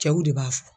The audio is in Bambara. Cɛw de b'a fɔ